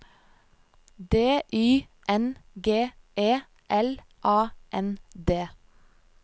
D Y N G E L A N D